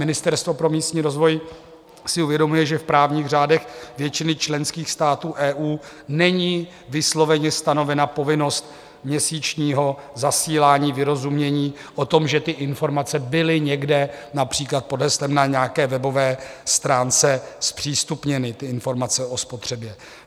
Ministerstvo pro místní rozvoj si uvědomuje, že v právních řádech většiny členských států EU není vysloveně stanovena povinnost měsíčního zasílání vyrozumění o tom, že ty informace byly někde například pod heslem na nějaké webové stránce zpřístupněny, ty informace o spotřebě.